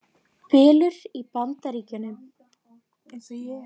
Bylur í Bandaríkjunum